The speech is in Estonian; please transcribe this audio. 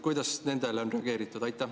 Kuidas sellele on reageeritud?